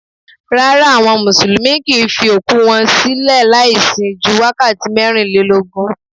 Rárá, àwọn Mùsùlùmí kì ń fi òkú wọn sílẹ̀ láì sin ju wákàtí mẹ́rin lélógún.